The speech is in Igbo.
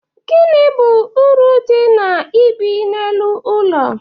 Gini bụ uru dị na ibi n'elu ụlọ?